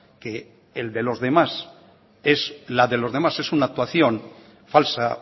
que el de los demás es la de los demás es una actuación falsa